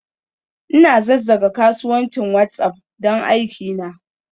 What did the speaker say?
Ina zazzage kasuwancin WhatsApp don aikina.